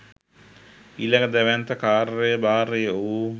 ඊළඟ දැවැන්ත කාර්යභාරය වූ